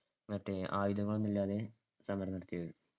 മറ്റേ ആയുധങ്ങളൊന്നുമില്ലാതെ സമരം നടത്തിയത്.